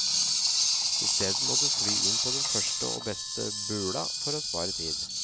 I stedet må du fly inn på den første og beste bula for å spare tid.